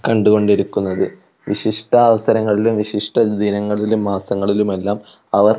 കണ്ടുകൊണ്ടിരിക്കുന്നത് വിശിഷ്ട അവസരങ്ങളിലും വിശിഷ്ട ദിനങ്ങളിലും മാസങ്ങളിലുമെല്ലാം അവർ--